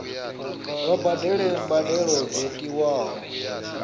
vha badele mbadelo dzo tiwaho